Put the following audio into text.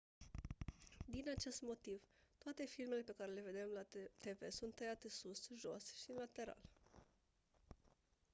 din acest motiv toate filmele pe care le vedem la tv sunt tăiate sus jos și în lateral